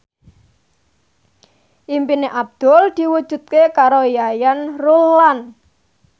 impine Abdul diwujudke karo Yayan Ruhlan